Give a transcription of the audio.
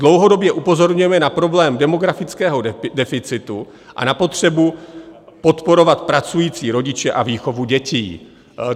Dlouhodobě upozorňujeme na problém demografického deficitu a na potřebu podporovat pracující rodiče a výchovu dětí.